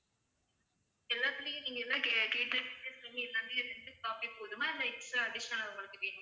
எல்லாத்துலையும் நீங்க எல்லாம் கேட்ட எல்லாமே ரெண்டு copy போதுமா இல்ல extra additional ஆ உங்களுக்கு வேணுமா?